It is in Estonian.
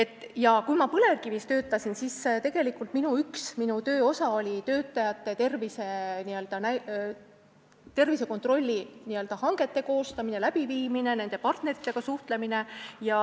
Kui ma Eesti Põlevkivis töötasin, siis üks minu töö osa oli töötajate tervisekontrollihangete koostamine ja läbiviimine ning nende partneritega suhtlemine.